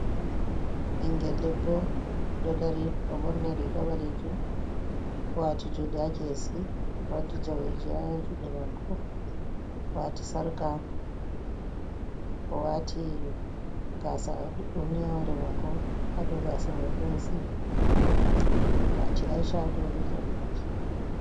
Engel debbo, dodari doborni rigabale jim, uwati jungu hakesi, waddi jawejiyay hajude mako, uwati sarka, uwati gasa dudum, ha hurimako hado gasa mai d watihdo bejen baki.